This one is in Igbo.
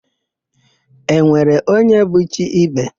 E nwere onye bụ chi ibe?